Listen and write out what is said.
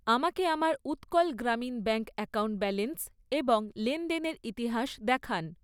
আমাকে আমার Utkal Grameen Bank account balance এবং লেনদেনের ইতিহাস দেখান।